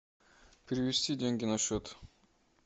перевести деньги на счет